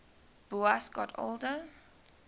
boas got older